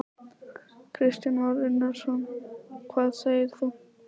Kristján Már Unnarsson: Hvað segir þú?